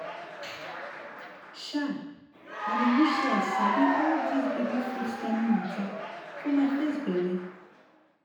chai! i dey wish say i sabi all dis baby food timing mata for my first belle!